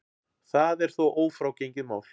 Það er þó ófrágengið mál.